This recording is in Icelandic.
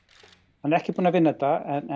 hann er ekki búinn að vinna þetta en